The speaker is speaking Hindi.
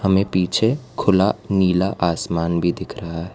में पीछे खुला नीला आसमान भी दिख रहा है।